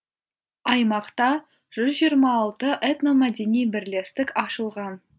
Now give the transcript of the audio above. аймақта жүз жиырма алты этномәдени бірлестік ашылған